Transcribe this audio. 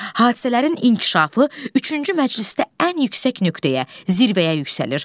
Hadisələrin inkişafı üçüncü məclisdə ən yüksək nöqtəyə, zirvəyə yüksəlir.